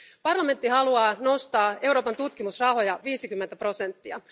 Euroopan parlamentti haluaa nostaa Euroopan tutkimusrahoja viisikymmentä prosenttia.